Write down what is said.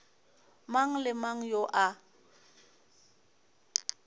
mang le mang yo a